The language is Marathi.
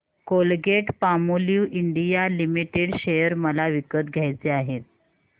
कोलगेटपामोलिव्ह इंडिया लिमिटेड शेअर मला विकत घ्यायचे आहेत